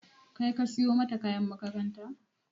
Kai ka siyo mata kayan makaranta?